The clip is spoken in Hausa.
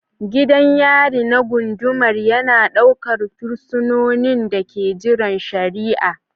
Gidan yari na gundumar yana ɗaukar fursunonin da ke jiran shari'a